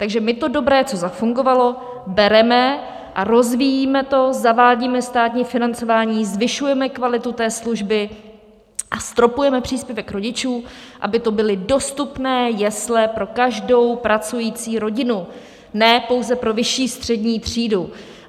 Takže my to dobré, co zafungovalo, bereme a rozvíjíme to, zavádíme státní financování, zvyšujeme kvalitu té služby a stropujeme příspěvek rodičů, aby to byly dostupné jesle pro každou pracující rodinu, ne pouze pro vyšší střední třídu.